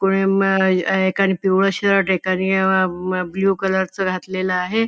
कोणी म अ एकाने पिवळ शर्ट एकाने अ अ ब्लू कलर च घातलेल आहे.